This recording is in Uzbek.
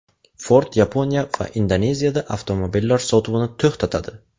Ford Yaponiya va Indoneziyada avtomobillari sotuvini to‘xtatadi.